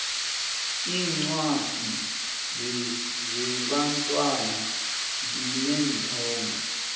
iincwadi zebantwana zineenthombe